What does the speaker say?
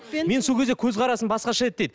менің сол кезде көзқарасым басқаша еді дейді